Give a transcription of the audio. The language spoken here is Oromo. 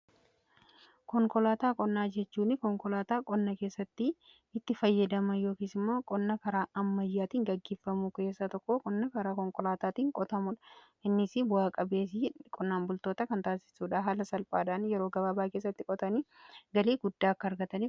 Konkolaataa qonnaa jechuun konkolaataa qonna keessatti itti fayyadaman yookiis immoo qonna karaa ammayyaatiin gaggeeffamu keessaa tokko qonna karaa konkolaataatiin qotamuudha. Innis bu'aa-qabeeyyii qonnaan bultoota kan taasisuudha. Haala salphaadhaan yeroo gabaabaa keessatti qotanii galii guddaa akka argatan godha.